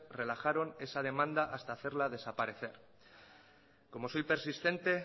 relajaron esa demanda hasta hacerla desaparecer como soy persistente